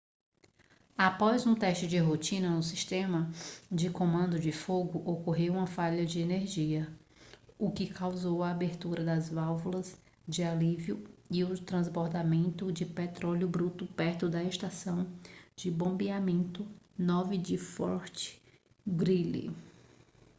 após um teste de rotina no sistema de comando de fogo ocorreu uma falha de energia o que causou a abertura das válvulas de alívio e o transbordamento de petróleo bruto perto da estação de bombeamento 9 de fort greely